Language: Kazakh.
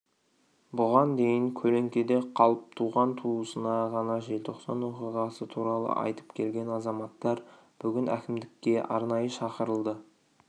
бұған дейін көлеңкеде қалып туған-туысына ғана желтоқсан оқиғасы туралы айтып келген азаматтар бүгін әкімдікке арнайы шақырылды